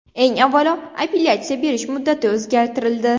Eng avvalo, apellyatsiya berish muddati o‘zgartirildi.